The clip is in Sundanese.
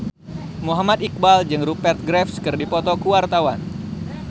Muhammad Iqbal jeung Rupert Graves keur dipoto ku wartawan